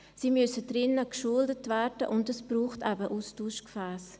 Sie müssen speziell geschult werden, und es braucht eben Austauschgefässe.